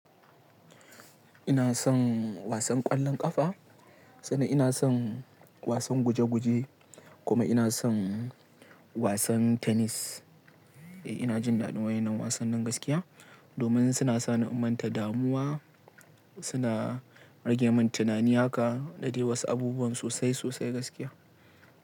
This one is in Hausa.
Ina son wasan ƙwallon ƙafa, sannan ina son wasan guje-guje kuma ina son wasan tenis. Eh, ina jin daɗi waɗannan wasanni gaskiya domin suna sa ni in manta damuwa, suna rage min tunani haka da dai wasu abubuwan sosai sosai gaskiya.